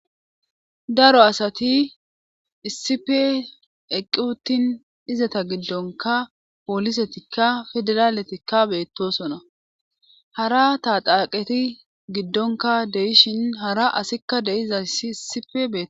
daro asati issipe eqqiuwutin izata giddonka poolisetikka fideraaletikka beettosona hara taa xaaqeti giddonka deishin hara asikka deiza ssi issipe be